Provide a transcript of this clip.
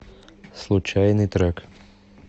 случайный трек